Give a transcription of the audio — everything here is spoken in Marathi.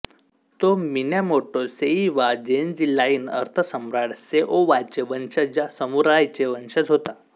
तो मिनॅमोटो सेईवा जेन्जी लाईन अर्थसम्राट सेओवाचे वंशज या समुराईचे वंशज होता